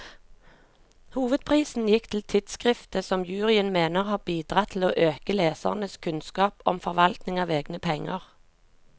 Hovedprisen gikk til tidskriftet, som juryen mener har bidratt til å øke lesernes kunnskap om forvaltning av egne penger.